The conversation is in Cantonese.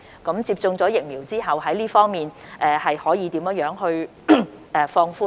那麼，當接種疫苗後，這方面又可以如何放寬呢？